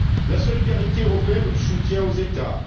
La solidarité européenne ou le soutien aux États?